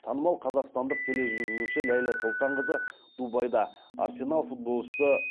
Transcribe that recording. танымал қазақстандық тележүргізуші ләйлә сұлтанқызы дубайда арсенал футболшысы виллиан боржес да силвамен көрісті